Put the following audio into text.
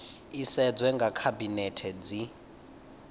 i sedzwe nga khabinethe zwi